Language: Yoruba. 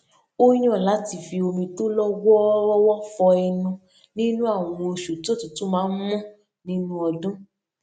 ó yàn láti fi omi tó lọ wọọrọwọ fọ ẹnu nínú àwọn oṣù tí òtútù máa n mú ninú ọdún